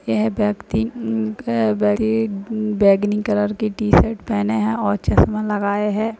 यह व्यक्ति अ क व्यक्ति बैंगनी कलर की टी-शर्ट पहने है और चश्मा लागाये है।